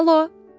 Alo.